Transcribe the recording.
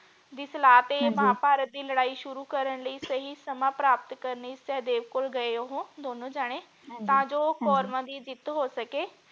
ਜਿਸ ਹਾਲਤ ਤੇ ਹਾਂਜੀ ਮਹਾਭਾਰਤ ਦੀ ਲੜਾਈ ਸ਼ੁਰੂ ਕਰਨ ਲਈ ਸਹੀ ਸਮਾਂ ਪ੍ਰਾਪਤ ਕਰਨ ਸਹਿਦੇਵ ਕੋਲ ਗਏ ਉਹ ਦੋਨੋ ਜਾਣੇ ਹਾਂਜੀ ਤਾਂ ਜੋ ਹਾਂਜੀ ਕੌਰਵਾਂ ਦੀ ਜਿੱਤ ਹੋ ਸਕੇ।